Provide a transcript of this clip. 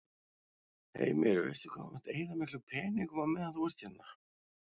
Heimir: Veistu hvað þú munt eyða miklum peningum á meðan þú ert hérna?